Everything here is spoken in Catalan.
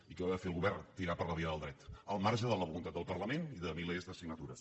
i què va fer el govern tirar per la via del dret al marge de la voluntat del parlament i de milers de signatures